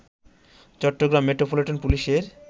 Chittagong metropolitan পুলিশের